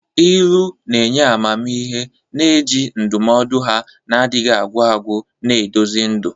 Ilu na-enye amamihe, na-eji ndụmọdụ ha na-adịghị agwụ agwụ na-eduzi ndụ.